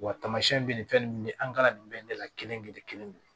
Wa tamasiyɛn bɛ nin fɛn nin ye an ka nin bɛɛ la kelen-kelen kelen-kelen